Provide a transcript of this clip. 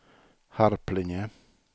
Harplinge